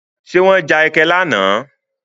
Ṣé wọ́n já ẹkẹ lánàá?